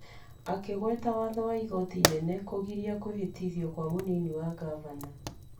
Akĩgweta watho wa igoti inene wa kũgiria kũhĩtithio kwa mũnini wa Ngavana .